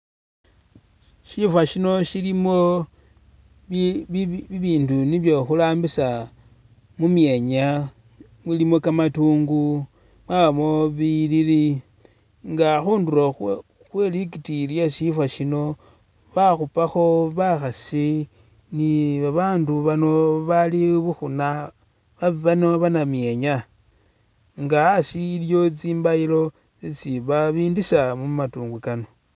Shifo shino silimo bi bi bindu nibyo khurambisa mumyenya, mulimo kamatungu, mwabamo biyilili nga khundulo khwe khwelitikiyi khwesifo sino bakhupakho bakhasi ni'babandu bano bali bukhuna bano banamyenya nga asi iliwo tsimbayilo isi babindisa mumandungu kano